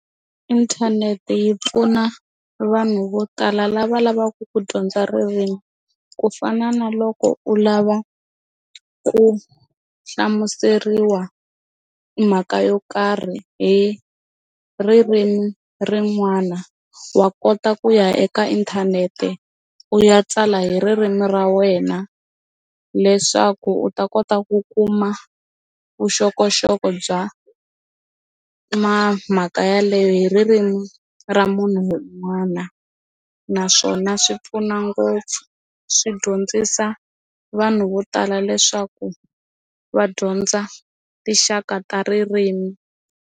Inthanete yi pfuna vanhu vo tala lava lavaku ku dyondza ririmi ku fana na loko u lava ku hlamuseriwa mhaka yo karhi hi ririmi rin'wana wa kota ku ya eka inthanete u ya tsala hi ririmi ra wena leswaku u ta kota ku kuma vuxokoxoko bya mhaka yaleyo hi ririmi ra munhu un'wana naswona swi pfuna ngopfu swi dyondzisa vanhu vo tala leswaku va dyondza tinxaka ta ririmi.